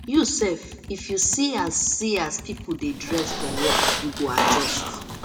you sef if you see as see as pipo dey dress for work you go adjust